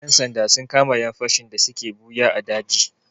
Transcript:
Ƴan sanda sun kama ƴan fashi da suke ɓuya a daji.